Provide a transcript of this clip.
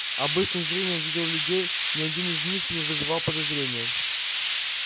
обычным зрением видел людей ни один из них не вызывал подозрения